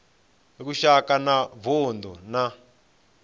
lushaka na wa vundu na